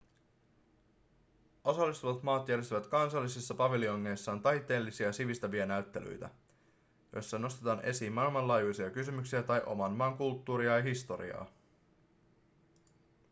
osallistuvat maat järjestävät kansallisissa paviljongeissaan taiteellisia ja sivistäviä näyttelyitä joissa ‎nostetaan esiin maailmanlaajuisia kysymyksiä tai oman maan kulttuuria ja historiaa.‎